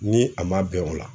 N ni a ma bɛn o la.